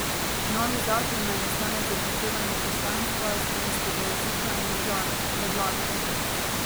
Novi zakon naj nastane z upoštevanjem poslanstva slovenskega jezika in države, predlagajo.